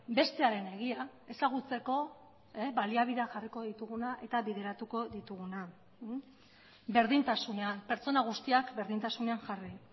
bestearen egia ezagutzeko baliabidea jarriko dituguna eta bideratuko dituguna berdintasunean pertsona guztiak berdintasunean jarri